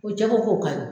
O jɛgɛ ko ka ɲi